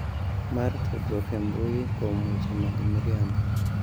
Mar tudruok e Mbui kuom weche mag miriambo